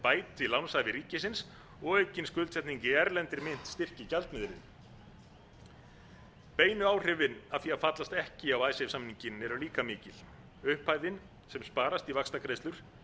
bæti lánshæfi ríkisins og aukin skuldsetning í erlendri mynt styrki gjaldmiðilinn beinu áhrifin af því að fallast ekki á icesave samninginn eru líka mikil upphæðin sem sparast í vaxtagreiðslur